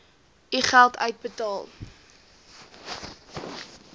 u geld uitbetaal